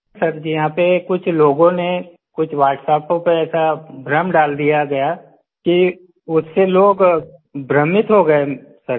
sir ji यहाँ पर कुछ लोगों ने कुछ WhatsApp पर ऐसा भ्रम डाल दिया गया कि उससे लोग भ्रमित हो गए सर जी